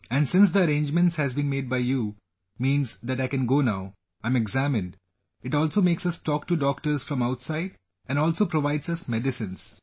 And since the arrangement has been made by you, means that I go now, I am examined, it also makes us talk to doctors from outside and also provides us medicines